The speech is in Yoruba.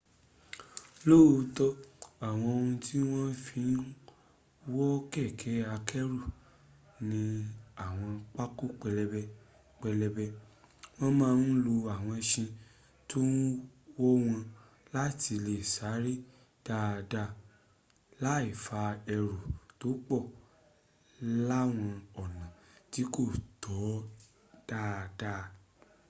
lóòótọ́ àwọn ohun tí wọ́n fi ń wọ́ kẹ̀kẹ́ akẹ́rù ní àwọn pákó pẹlẹbẹ pẹlẹbẹ wọ́n má ń lo àwọn ẹṣin tó ń wọ́wọn láti lè sáré dáadáa le fa ẹrù tó pọ̀ láwọn ọ̀nọ̀ tí kò tọ́ dáadáa